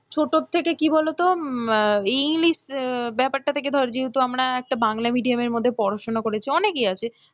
ছোটো থেকে কি বলতো এই english ব্যাপার টা ধরো যেহেতু আমরা একটা বাংলা medium এর মধ্যে পড়াশোনা করেছি, অনেকেই আছে,